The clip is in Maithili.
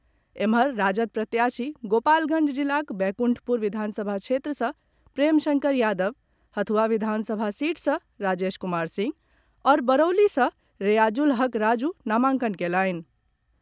एम्हर, राजद प्रत्याशी गोपालगंज जिलाक बैकुंठपुर विधानसभा क्षेत्र सँ प्रेम शंकर यादव, हथुआ विधानसभा सीट सँ राजेश कुमार सिंह, आओर बरौली सँ रेयाजुल हक राजू नामांकन कयलनि।